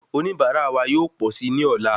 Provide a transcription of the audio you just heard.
Oníbara wa yóò pọ sí ní ọ̀la